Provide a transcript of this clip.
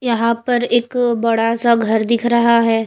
यहां पर एक बड़ा सा घर दिख रहा है।